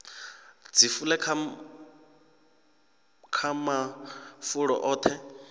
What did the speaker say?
dzi fule kha mafulo oṱhe